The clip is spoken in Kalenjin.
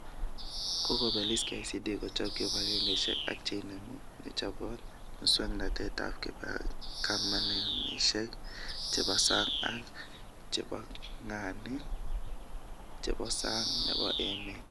Kokobelis KICD kochob kibagengeishek ak cheinemu, nechobot, muswknotetab kamunishek chebo sang ak chebongani chebo sang nebo emet